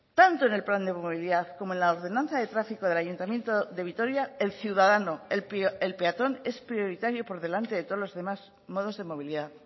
tanto en el plan de movilidad como en la ordenanza de tráfico del ayuntamiento de vitoria el ciudadano el peatón es prioritario por delante de todos los demás modos de movilidad